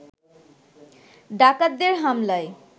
ডাকাতদের হামলায়